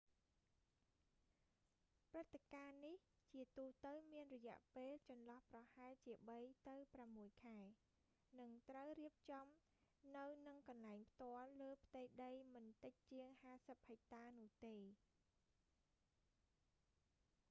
ព្រឹត្តិការណ៍នេះ ជាទូទៅមានរយៈពេលចន្លោះប្រហែលជាបីទៅប្រាំមួយខែ និងត្រូវរៀបចំនៅនឹងកន្លែងផ្ទាល់លើផ្ទៃដីមិនតិចជាង 50 ហិចតានោះទេ